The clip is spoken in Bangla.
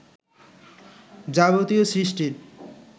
যাবতীয় সৃষ্টির